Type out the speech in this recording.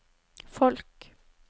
folk